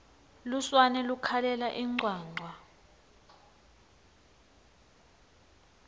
lusurane lukhalela incwancwa